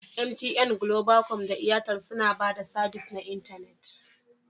MTN, Globacom da Airtel suna ba da sabis na intanet